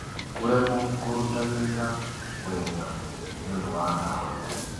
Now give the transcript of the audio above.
Kũremwo kũruta wĩra wega nĩ ũndũ wa ndawa.